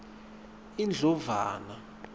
indlovana